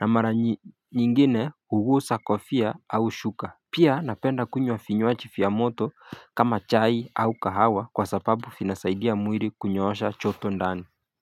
Na mara nyingine hugusa kofia au shuka. Pia napenda kunywa vinywaji vya moto kama chai au kahawa kwa sababu vinasaidia mwili kunyoosha joto ndani.